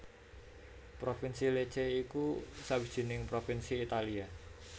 Provinsi Lecce iku sawijining provinsi Italia